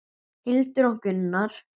Hildur og Gunnar.